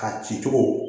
A ci cogo